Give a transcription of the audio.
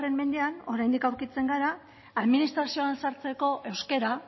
mendean oraindik aurkitzen gara administrazioan sartzeko euskara